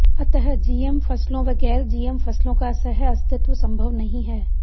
अतः जीएम फसलों व गैर जीएम फसलों का सहअस्तित्व संभव नहीं है